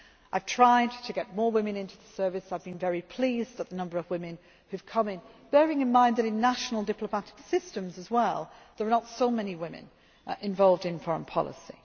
to come in. I have tried to get more women into the service, I have been very pleased at the number of women who have come in bearing in mind that in national diplomatic systems as well there are not so many women involved in foreign